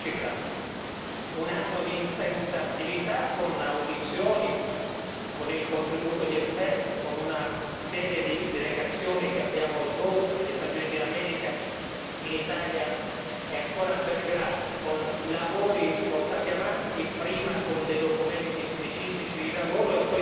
Un anno di intensa attività con audizioni, con il contributo di esperti, con una serie di delegazioni che abbiamo svolto negli Stati Uniti d'America, in Italia e ancora a Belgrado, con lavori portati avanti prima con dei documenti specifici di lavoro e poi con questa relazione